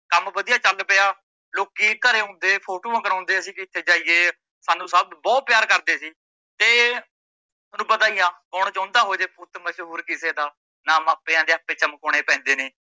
ਕੰਮ ਵਧੀਆ ਚੱਲ ਪਿਆ ਲੋਕੀਂ ਘਰੇ ਆਉਂਦੇ ਫੋਟੋਆ ਕਰਾਉਂਦੇ ਅਸੀਂ ਜਿੱਥੇ ਜਾਈਏ ਸਾਨੂ ਸੱਭ ਬਹੁਤ ਪਿਆਰ ਸੀ। ਤੇ ਤੁਹਾਨੂੰ ਪਤਾ ਈ ਆ ਕੋਣ ਚਾਉਂਦਾ ਹੋਜੇ ਪੁੱਤ ਮਸ਼ਹੂਰ ਕਿਸੇ ਦਾ ਨਾਂ ਮਾਪਿਆ ਦੇ ਹੱਥ ਚਮਕਾਉਣੇ ਪੈਂਦੇ ਨੇ,